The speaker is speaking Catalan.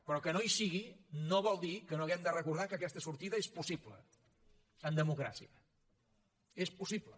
però que no hi sigui no vol dir que no hàgim de recordar que aquesta sortida és possible en democràcia és possible